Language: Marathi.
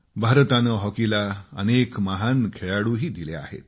भारताने हॉकीला अनेक महान खेळाडूही दिले आहेत